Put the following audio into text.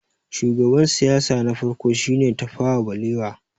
shugaban siyasa na farko shi ne Tafawa balewa